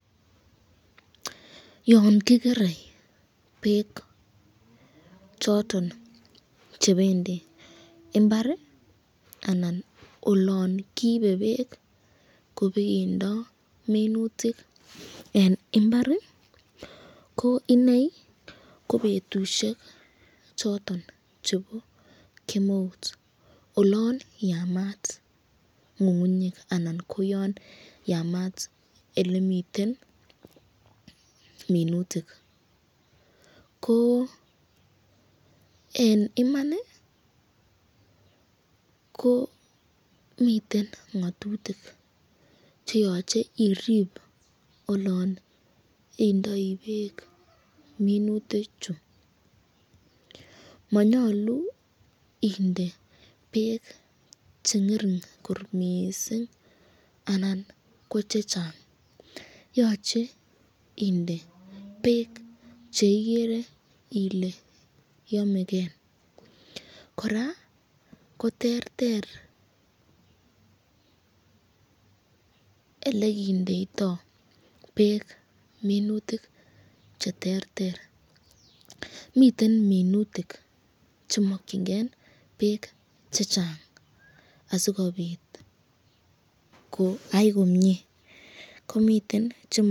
Yon kigere beek choton chebendi imbar anan olon kiibe beek kobeendo minutik en mbar koiney kobetusiek choton chebo kemeut olon yamat ng'ng'unyek, anan ko yon yamaat ole miten minutik. Ko en iman ko miten ng'atutik che yoche irib olon indoi beek minutik chu, monyolu inde beek che ng'ering kot mising anan ko chechang yoche inde beek che igere ile yomeken. Kora ko terter ole kindeito beek minutik che terter, miten minutik che mokinge beek chechang asikobit koyai komie, komiten chemo...